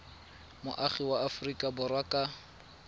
moagi wa aforika borwa ka